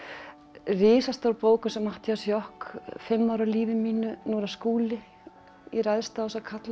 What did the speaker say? risastór bók eins og Matthías Joch fimm ár af lífi mínu nú er það Skúli ég ræðst á þessa karla